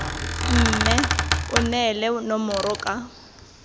mme o neele nomoro ka